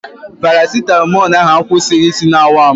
Parasitamọl ahụ akwụsighị isi na-awa m.